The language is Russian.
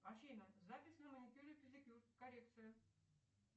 афина запись на маникюр и педикюр коррекция